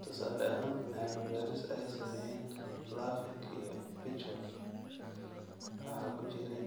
Tusaale ahaan, cilmi-baadhis ay sameeyeen Lurvink iyo Pitchford waxa ku jiray